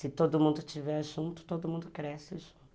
Se todo mundo estiver junto, todo mundo cresce junto.